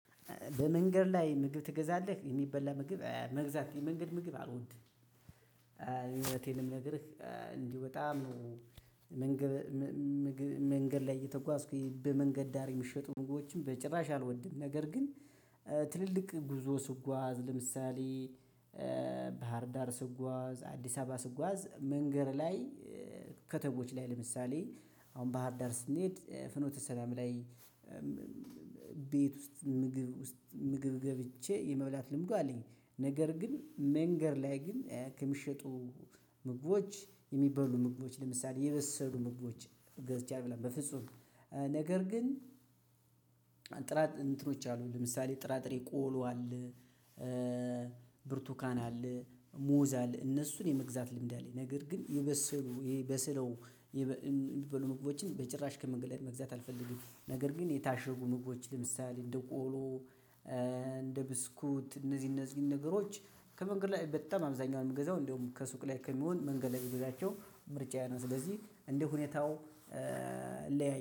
በመንገድ ላይ ምግብ ትገዛለህ የሚበላ ምግብ መግዛት የመንገድ ምግብ አልወድም። እዉነቴን ነው የምነግርህ እንዲህ በጣም ነው። መንገድ መንገድ ላይ እየተጓዝኩኝ በመንገድ ዳር የሚሸጡ ምግቦችን በጭራሽ አልወድም። ነገር ግን ትልልቅ ጉዞ ስጓዝ ለምሳሌ ዳር ስጓዝ አዲስ አበባ ስጓዝ መንገድ ላይ። ከተሞች ላይ ለምሳሌ አሁን ባህር ዳር ስንሄድ ፍኖተ ሰላም ላይ። ዳር ስጓዝ አዲስ አበባ ስጓዝ መንገድ ላይ ከተሞች ላይ ለምሳሌ አሁን ባህር ዳር ስንሄድ ፍኖተ ሰላም ላይ። ጥራት እንትኖች አሉ ለምሳሌ ጥራጥሬ ቆሎ አለ። ብርቱካን አለ ሙዝ አለ እነሱን የመግዛት ልምድ አለኝ። ነገር ግን የበሰሉ በስለው የሚበሉ ምግቦችን በጭራሽ ከመንገድ ላይ መግዛት አልፈልግም። ነገር ግን የታሸጉ ምግቦችን ለምሳሌ እንደ ቆሎ። እንደ ብስኩት እነዚህ እነዚህ ነገሮች ከመንገድ ላይ በጣም አብዛኛውን የምገዛው እንደውም ከሱቅ ላይ ከሚሆን መንገድ ላይ ብገዛቸው ምርጫዬ ነው። ስለዚህ እንደ ሁኔታው ለያይ